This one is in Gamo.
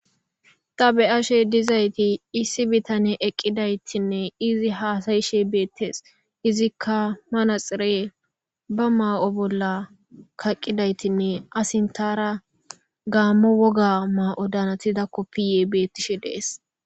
ta be7ashe dizayti issi bitane eqqidaytinne izi haasayishe beettes izikka manaxire ba maa7o bolla kaqqidaytinne asintaara gaammo woga maa7o danatida koppiye beettishe dees